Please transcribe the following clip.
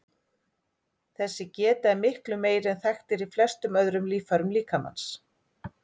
Þessi geta er miklu meiri en þekkt er í flestum öðrum líffærum líkamans.